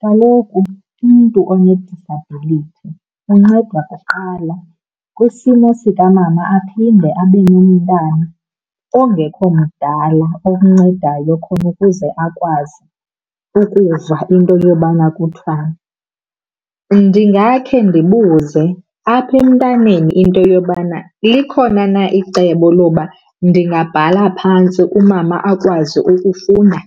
Kaloku umntu onedisabhilithi uncedwa kuqala. Kwisimo sikamama aphinde abe nomntana ongekho mdala okuncedayo khona ukuze akwazi ukuva into yobana kuthiwani, ndingakhe ndibuze apha emntaneni into yobana likhona na icebo loba ndingabhala phantsi umama akwazi ukufunda